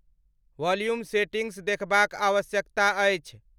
Volume settings देखबाक आवश्यकता अछि।